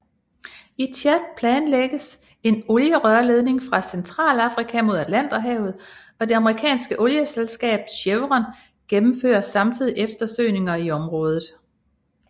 I Tchad planlægges en olierørledning fra Centralafrika mod Atlanterhavet og det amerikanske olieselskab Chevron gennemfører samtidig eftersøgninger i området